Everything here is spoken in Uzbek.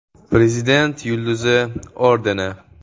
“Prezident yulduzi” ordeni.